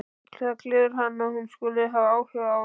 Það gleður hann að hún skuli hafa áhuga á því.